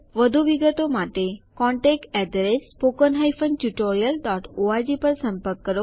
વધુ વિગતો માટે contactspoken tutorialorg પર સંપર્ક કરો